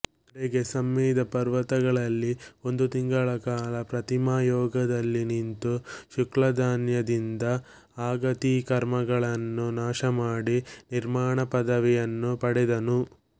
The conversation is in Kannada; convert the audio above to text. ಕಡೆಗೆ ಸಮ್ಮೇದ ಪರ್ವತದಲ್ಲಿ ಒಂದು ತಿಂಗಳ ಕಾಲ ಪ್ರತಿಮಾಯೋಗದಲ್ಲಿ ನಿಂತು ಶುಕ್ಲಧ್ಯಾನ ದಿಂದ ಅಘಾತಿಕರ್ಮಗಳನ್ನು ನಾಶಮಾಡಿ ನಿರ್ವಾಣಪದವಿ ಯನ್ನು ಪಡೆದನು